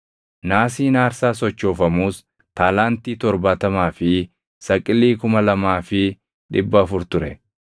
Naasiin aarsaa sochoofamuus taalaantii 70 fi saqilii 2,400 ture.